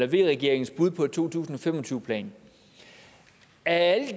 v regeringens bud på en to tusind og fem og tyve plan af